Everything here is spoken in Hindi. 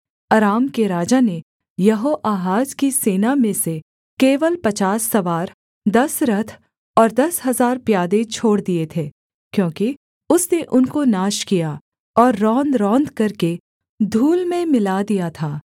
अराम के राजा ने यहोआहाज की सेना में से केवल पचास सवार दस रथ और दस हजार प्यादे छोड़ दिए थे क्योंकि उसने उनको नाश किया और रौंद रौंदकर के धूल में मिला दिया था